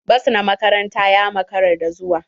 Bas na makaranta ya makara da zuwa.